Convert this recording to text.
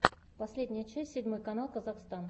последняя часть седьмой канал казахстн